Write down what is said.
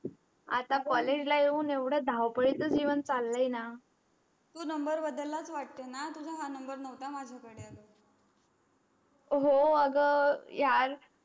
आता college ला येऊन येवड धावपडीच जीवन चालाय ना तो number बदलाच वाटे ना तुझा हा number नवता माझा कडे हो अग यार.